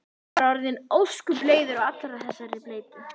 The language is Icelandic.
Hann er orðinn ósköp leiður á allri þessari bleytu.